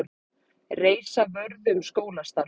Reisa vörðu um skólastarf